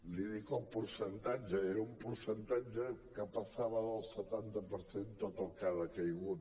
li’n dic el percentatge era un percentatge que passava del setanta per cent tot el que ha decaigut